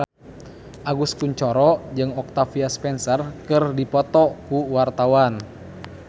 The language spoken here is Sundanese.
Agus Kuncoro jeung Octavia Spencer keur dipoto ku wartawan